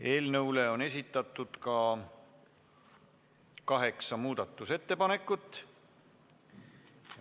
Eelnõu kohta on esitatud kaheksa muudatusettepanekut.